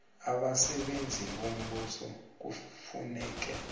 abasebenzi bombuso kufuneka